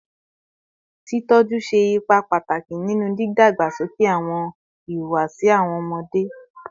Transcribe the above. Titọjọ ṣe ipa pataki ninu didagbasoke awọn ihuwasi awọn ọmọde